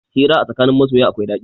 Hira a tsakanin masoya akwai ɗaɗi.